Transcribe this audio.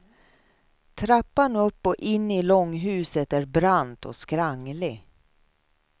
Trappan upp och in i långhuset är brant och skranglig.